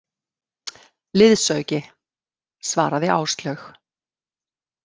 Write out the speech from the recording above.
Liðsauki, svaraði Áslaug.